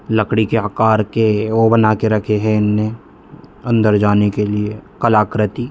लकड़ी के आकार के ओ बना के रखे हैं ऐन्ना अंदर जाने के लिए कलाकृति।